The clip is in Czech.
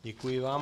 Děkuji vám.